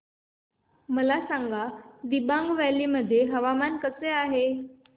मला सांगा दिबांग व्हॅली मध्ये हवामान कसे आहे